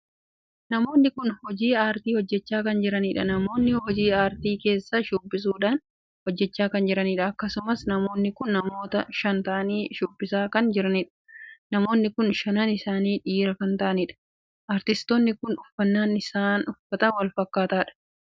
Namoonni kun hojii aartii hojjechaa kan jiraniidha. namoonni hojii aartii keessaa shubbisuudhaan hojjechaa kan jiraniidha. akkasumas namoonni kun namoota shan taa'anii shubbisaa kan jiraniidha. namoonni kun shanan isaanii dhiiraa kan taa'aniidha. aartistoonni kun uffannaan isaa kan walfakkaatuudha. uffannaan isaanii kunisa bifa keelloo kan taheedha.